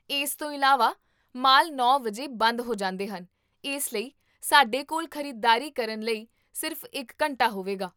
ਇਸ ਤੋਂ ਇਲਾਵਾ, ਮਾਲ ਨੌ ਵਜੇ ਬੰਦ ਹੋ ਜਾਂਦੇ ਹਨ ਇਸ ਲਈ ਸਾਡੇ ਕੋਲ ਖ਼ਰੀਦਦਾਰੀ ਕਰਨ ਲਈ ਸਿਰਫ਼ ਇੱਕ ਘੰਟਾ ਹੋਵੇਗਾ